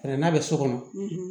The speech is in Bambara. Hɛrɛ n'a bɛ so kɔnɔ